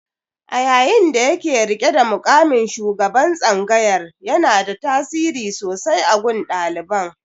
A yayin da yake riƙe da muƙamin shugaban tsangayar, yanada tasiri sosai a gun ɗaliban.